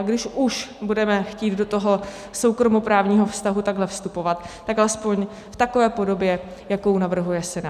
A když už budeme chtít do toho soukromoprávního vztahu takhle vstupovat, tak alespoň v takové podobě, jakou navrhuje Senát.